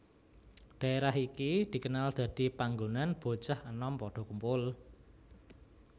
Dhaérah iki dikenal dadi panggonan bocah enom padha kumpul